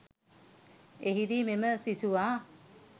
එහිදී මෙම සිසුවා